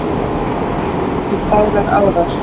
fley ok fagrar árar